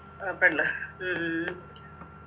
ആ പിന്നെ ഉം